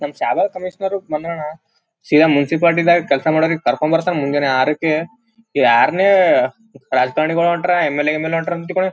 ನಮ್ಮ ಶಾಬಾದ ಕಮಿಷ್ನರ್‌ ಬಂದಾನ ಸೀದಾ ಮುನ್ಸಿಪಾಲಿಟಿ ದಾಗ ಕೆಲಸ ಮಾಡಕ್ ಕರ್ಕೊಂಡ್ ಬರ್ತರು ಮುಂದ ಅರಕ್ಕ ಯಾರನ್ನೇ ರಾಜಕಾರಣಿಗಳು ಹೊಂಟ್ರ ಎಮ್.ಎಲ್.ಎ ಹೊಂಟ್ರ ತಿಳ್ಕೊ --